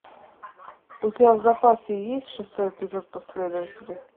у тебя в запасе есть шестой эпизод последователи